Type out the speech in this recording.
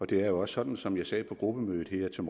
det er også sådan som jeg sagde på gruppemødet her til